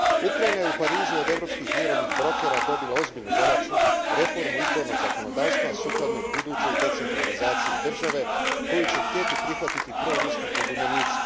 Ukrajina je u Parizu od europskih mirovnih brokera dobila ozbiljnu zadaću reformu izbornog zakonodavstva sukladno budućoj decentralizaciji države koju će htjeti prihvatiti proruski pobunjenici.